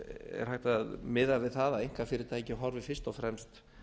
er hægt að miða við það að einkafyrirtæki horfi fyrst og fremst